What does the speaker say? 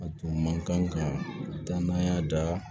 A tun man kan ka taa n'a y'a da